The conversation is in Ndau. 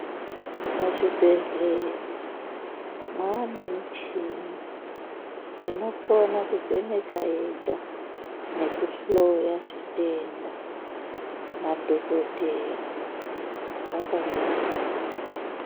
Muzvibhedhlera mwaane michini inokona kuvheneka yega nekuhloya zvitenda, madhogodheya akangoningira.